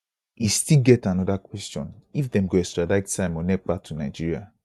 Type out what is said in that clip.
e still get anoda kwesion if dem go extradite simon ekpa to nigeria